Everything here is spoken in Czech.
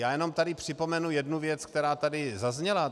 Já jenom tady připomenu jednu věc, která tady zazněla.